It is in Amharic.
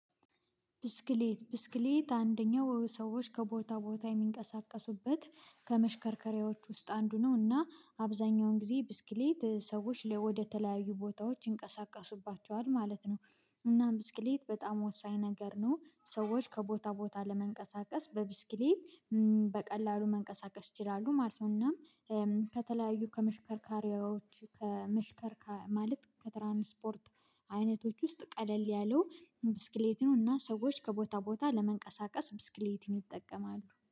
ብስክሌት ብስክሌት አንደኛው ሰዎች ከቦታ ቦታ የሚንቀሳቀሱበት ከመሽከርከሪያዎች ውስጥ አንዱ ነው እና አብዛኛውን ጊዜ ብስክሌት ሰዎች ወደተለያዩ ቦታዎች ይንቀሳቀሱባቸዋል ማለት ነው። እና ብስክሌት በጣም ወሳኝ ነገር ነው ሰዎች ከቦታ ቦታ ለመንቀሳቀስ በብስክሌት በቀላሉ መንቀሳቀስ ይችላሉ ማለት ነው። እና ከተለያዩ ከመሽከርከሪያዎች ማለት ከትራንስፖርት አይነቶች ውስጥ ቀለል ያለው ብስክሌት ነው እና ሰዎች ከቦታ ቦታ ለመንቀሳቀስ ብስክሌትን ይጠቀማሉ